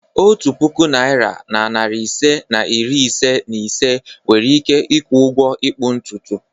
Otu puku naịra na narị ise na iri ise na ise nwere ike ịkwụ ụgwọ ịkpụ ntutu.